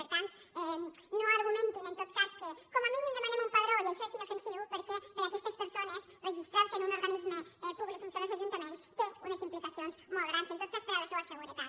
per tant no argumentin en tot cas que com a mínim demanem un padró i això és inofensiu perquè per a aquestes persones registrar se en un organisme públic com són els ajuntaments té unes implicacions molt grans en tot cas per a la seua seguretat